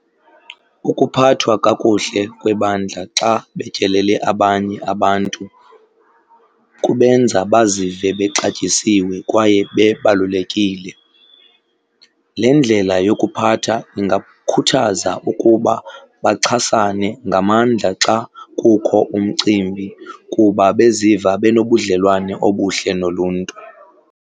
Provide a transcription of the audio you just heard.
Ukuphathwa kakuhle kwebandla xa betyelele abanye abantu kubenza bazive bexatyisiwe kwaye bebalulekile. Le ndlela yokuphatha ingakhuthaza ukuba baxhasane ngamandla xa kukho umcimbi kuba beziva benobudlwane obuhle noluntu.